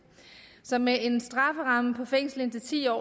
så med en strafferamme på fængsel indtil ti år